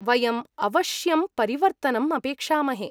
वयम् अवश्यं परिवर्तनम् अपेक्षामहे।